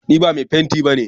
Ni ba mai fenti ba ne.